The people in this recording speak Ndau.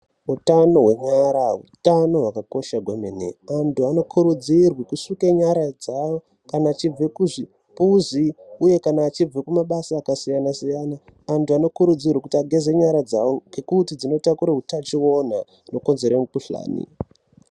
Utano hwenyara utano hwakakosha kwemene, vantu vanokurudzirwa kusuke nyara dzavo, kana achibva kuzvimbuzi, uye kana vachibve kumabasa akasiyana-siyana, antu anokurudzirwa kuti ageze nyara dzawo, ngekuti dzinotakure utachiwona unokonzere mukuhlani.